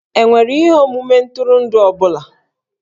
E nwere ihe omume ntụrụndụ ọ bụla?